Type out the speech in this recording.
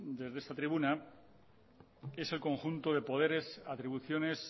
desde esta tribuna es el conjunto de poderes atribuciones